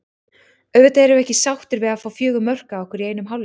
Auðvitað erum við ekki sáttir við að fá fjögur mörk á okkur í einum hálfleik.